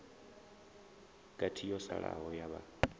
gathi yo salaho ya vhaa